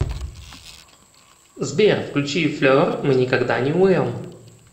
сбер включи флер мы никогда не умрем